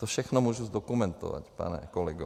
To všechno můžu zdokumentovat, pane kolego.